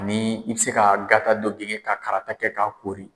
Ni i bi se ka gata dɔ genge ka karata kɛ k'a kori.